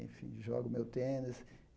Enfim, jogo meu tênis.